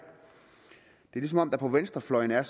det er som om der på venstrefløjen er